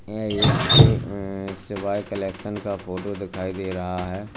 यह एक शिव अह शिवाय कलेक्शन का फोटो दिखाई दे रहा है।